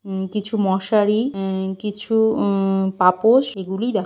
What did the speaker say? উম কিছু মশারি উম কিছু উ-উ পাপোস এগুলি দেখা --